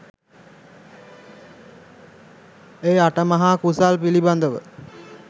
ඒ අටමහා කුසල් පිළිබඳව